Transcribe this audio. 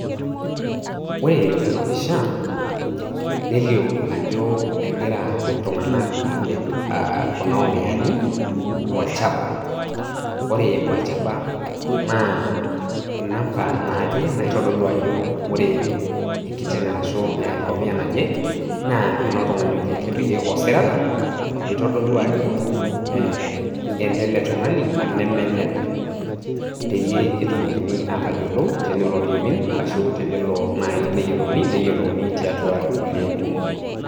Ore tena pishaa neleoo ajoo egira ltung'anak apiik kuna omiani olchaaba. Ore olchaaba naa enambaa najee naitodoluu ajoo ore enkiteng' e najee arashu ong'amia najee naa enoo ltung'ani ojee etupiiki osirata oitodoluu ajo enele ltung'ani ana mee neldee peiye etumokini aiteiyeloo teneloo neimiin arashu teneloo naii naiyelouuni neyeloou naa te atua ilkulee kumook.